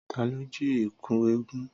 Tà lò jí ẹkú ẹgún?